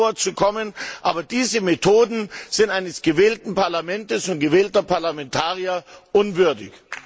Ich hatte vor zu kommen, aber diese Methoden sind eines gewählten Parlaments und gewählter Parlamentarier unwürdig.